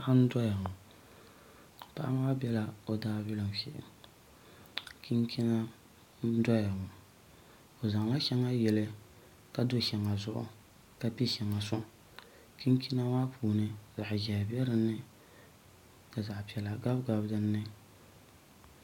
Paɣa n doya ŋo paɣa maa biɛla o daabilim shee chinchina n doya ŋo o zaŋla shɛŋa yili ka do shɛŋa zuɣu ka piɛ shɛŋa soŋ chinchina maa puuni zaɣ ʒiɛhi bɛ dinni ka zaɣ piɛla gabigabi dinni